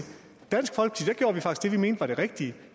vi mente var det rigtige